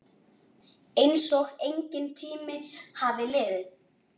Einsog enginn tími hafi liðið.